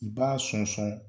I b'a sɔn-sɔn fɛ